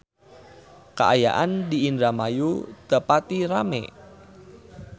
Kaayaan di Indramayu teu pati rame